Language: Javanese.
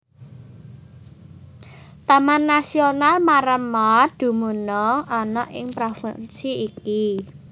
Taman Nasional Maremma dumunung ana ing provinsi iki